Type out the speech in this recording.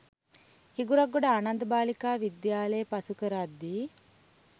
හිඟුරක්ගොඩ ආනන්ද බාලිකා විද්‍යාලය පසු කරද්දී